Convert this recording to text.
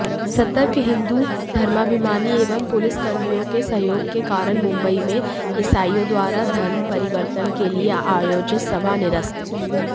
सतर्क हिंदु धर्माभिमानी एवं पुलिसकर्मियोंके सहयोगके कारण मुंबईमें ईसाईयोंद्वारा धर्मपरिवर्तनके लिए आयोजित सभा निरस्त